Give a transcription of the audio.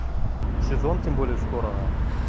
сезон тем более скоро